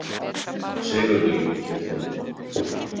Sigurlín hét hún.